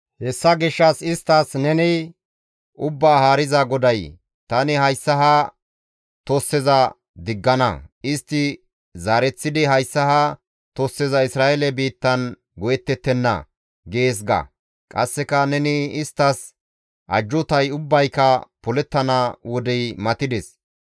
Hessa gishshas isttas neni, ‹Ubbaa Haariza GODAY: tani hayssa ha tosseza diggana; istti zaareththidi hayssa ha tosseza Isra7eele biittan go7ettettenna› gees ga. Qasseka neni isttas, ‹Ajjuutay ubbayka polettana wodey matides.